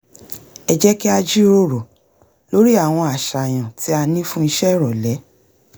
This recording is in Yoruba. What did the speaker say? ẹ jẹ́ kí á jíròrò lórí àwọn àṣàyàn tí a ní fún ìṣe ìrọ̀lẹ́